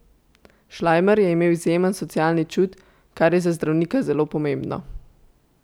Šlajmer je imel izjemen socialni čut, kar je za zdravnika zelo pomembno.